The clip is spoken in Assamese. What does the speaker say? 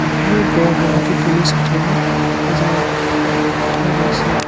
ওপৰৰ পৰা বহুতো তুনি সজাই থকা দেখা গৈছে।